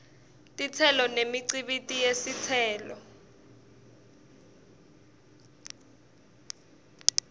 titselo nemikhicito yetitselo